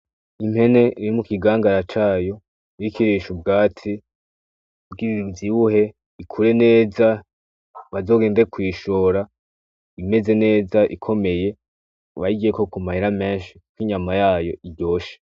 Impene iri mukigangara cayo iriko irisha ubwatsi kugira ivyibuhe ikure neza bazogende kuyishora imeze neza ikomeye bayiryeko k'umahera meshi n'inyama yayo iryoshe